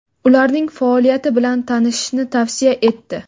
ularning faoliyati bilan tanishishni tavsiya etdi.